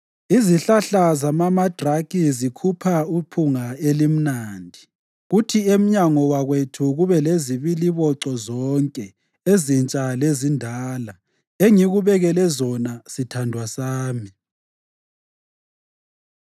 Izihlahla zamamandraki zikhupha iphunga elimnandi, kuthi emnyango wakwethu kube lezibiliboco zonke ezintsha lezindala, engikubekele zona, sithandwa sami.